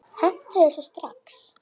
Hentu þessu strax!